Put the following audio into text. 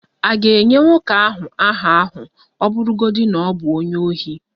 A ga-enye nwoke ahụ aha ahụ ọ bụrụgodị na ọ bụ onye ohi?